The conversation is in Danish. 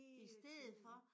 Hele tiden